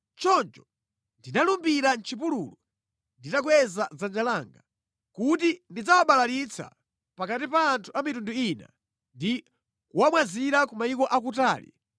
Choncho ndinalumbira mʼchipululu, nditakweza dzanja langa, kuti ndidzawabalalitsa pakati pa anthu a mitundu ina ndi kuwamwazira ku mayiko akutali,